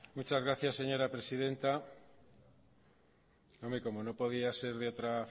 muchas gracias señora presidenta hombre como no podía ser de otra